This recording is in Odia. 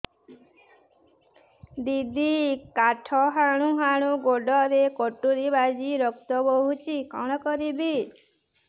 ଦିଦି କାଠ ହାଣୁ ହାଣୁ ଗୋଡରେ କଟୁରୀ ବାଜି ରକ୍ତ ବୋହୁଛି କଣ କରିବି